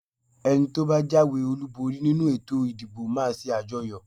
Ẹni tí ó bá jáwé-olúborí nínú ètò ìdìbò máa ṣe àjọyọ̀.